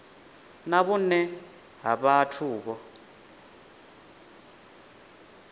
na vhune ha vhathu vho